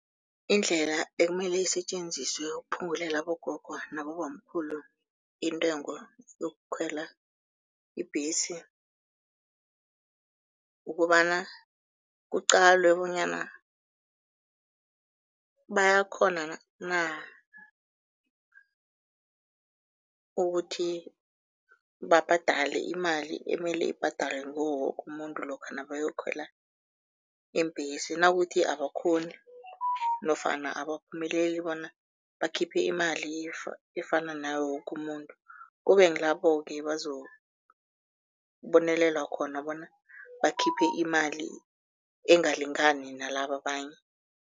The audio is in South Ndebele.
Indlela ekumele isetjenziswe ukuphungulela abogogo nabobamkhulu intengo yokukhwela ibhesi ukobana, kuqalwe bonyana bayakghona na ukuthi babhadale imali emele ibhadalwe ngiwo woke umuntu lokha nabayokhwela iimbhesi, nakuthi abakghoni nofana abaphumeleli bona bakhiphe imali efana nawo woke umuntu, kube ngilabo-ke bazobonelelwa khona bona bakhiphe imali engalingani nalaba abanye.